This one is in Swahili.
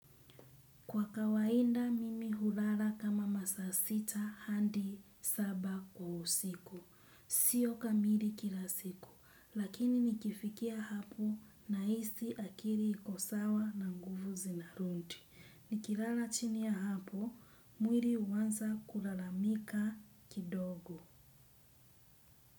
Kwa kawainda mimi hulala kama masaa sita hadi saba kwa usiku. Sio kamili kila siku, lakini nikifikia hapo nahisi akili iko sawa na nguvu zinarudi. Nikilala chini ya hapo, mwili huanza kulalamika kidogo.